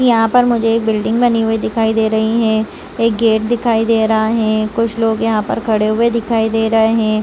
यहाँ पर मुझे एक बिल्डिंग बनी हुई दिखाई दे रही है एक गेट दिखाई दे रहा है कुछ लोग यहाँ पे खड़े हुए दिखाई दे रहे है।